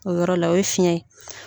O yɔrɔ la o ye fiyɛn ye.